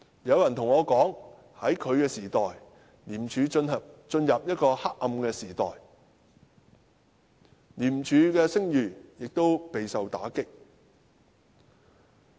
有人告訴我，在他作為專員的時代，廉署進入了一個黑暗時代，廉署的聲譽亦備受打擊。